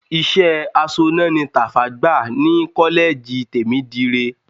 Iṣẹ́ aṣọ́nà ni Tàfá gbà ní kọ́lẹ́ẹ̀jì Tèmídire.